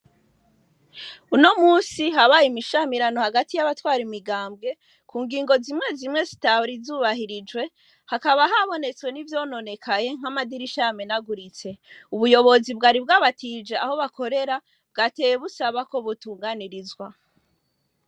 Uno munsi habaye imishanirano hagati yabatwara imigambwe ku ngingo zimwe zimwe zitari zubahirijwe hakaba habonetse n'ivyononekaye nk'amadirisha yamenaguritse, ubuyobozi bwari bwabatije aho bakorera bwateye busaba ko butunganirizwa.